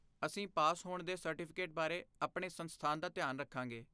ਅਸੀਂ ਪਾਸ ਹੋਣ ਦੇ ਸਰਟੀਫਿਕੇਟ ਬਾਰੇ ਆਪਣੇ ਸੰਸਥਾਨ ਦਾ ਧਿਆਨ ਰੱਖਾਂਗੇ।